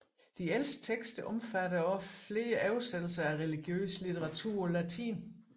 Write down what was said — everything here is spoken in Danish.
De ældste tekster omfatter også flere oversættelser af religiøs litteratur på latin